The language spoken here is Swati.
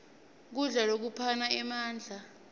kudla lokuphana emandla